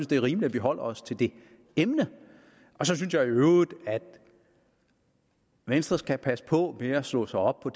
det er rimeligt at vi holder os til det emne så synes jeg i øvrigt at venstre skal passe på med at slå sig op på